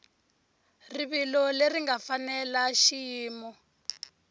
rivilo leri nga fanela xiyimo